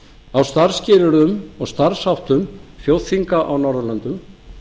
á starfsskilyrðum og starfsháttum þjóðþinga á norðurlöndum